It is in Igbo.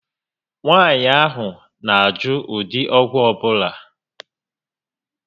Nwaànyị ahụ na -ajụ ụdị ọgwụ ọbula